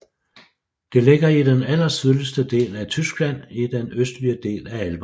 Det ligger i den allersydligste del af Tyskland i den østlige del af Alperne